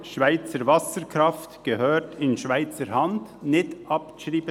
«Schweizer Wasserkraft gehört in Schweizer Hand» sei nicht abzuschreiben.